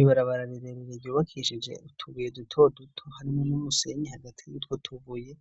Ibarabara rirerire ryubakishije utubuye duto duto harimwo n'umusenyi hagati y'utwo tubuye.